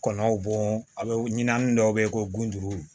Kɔnɔw bɔ a bɛ ɲinanni dɔw bɛ yen ko gundo